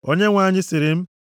Onyenwe anyị sịrị m,